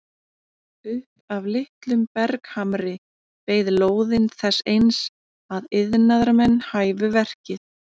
Upp af litlum berghamri beið lóðin þess eins að iðnaðarmenn hæfu verkið.